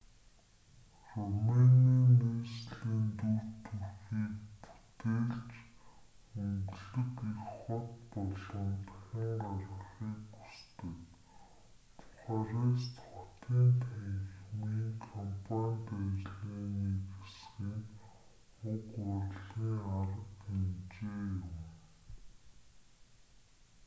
румыны нийслэлийн дүр төрхийг бүтээлч өнгөлөг их хот болгон дахин гаргахыг хүсдэг бухарест хотын танхимын кампанит ажлын нэг хэсэг нь уг урлагийн арга хэмжээ юм